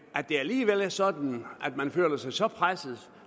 at det alligevel er sådan at man føler sig så presset